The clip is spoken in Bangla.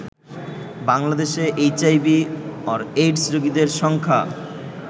বাংলাদেশে এইচআইভি/এইডস রোগীর সংখ্যা